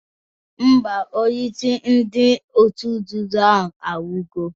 Mba, onyeisi ndị otu nzuzo ahụ anwụgo